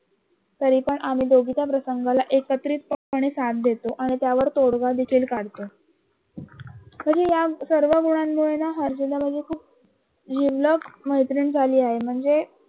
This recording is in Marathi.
तरीपण आम्ही दोघे त्या प्रसंगाला एकत्रितपणे साथ देतो आणि तोडगा देखील काढतो म्सहणजे या सर्ग गुनानुमळे ना हर्षदा माझी खू जिवलग मैत्रीण झाली आहे म्हणजे